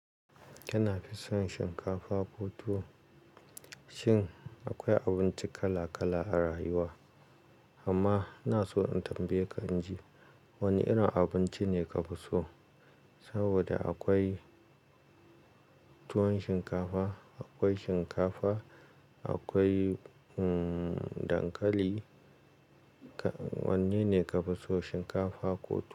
Kina fison shinkafa ko tuwo? Shin akwai abinci kala kala a rayuwa, amma ina so in tambaye ka in ji wane irin abinci ne ka fi so? Saboda akwai tuwon shinkafa, akwai shinkafa, akwai, um, dankali. Wanne ne ka fi so shinkafa ko tuwo?